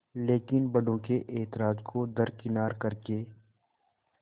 लेकिन बड़ों के ऐतराज़ को दरकिनार कर के